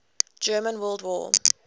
german world war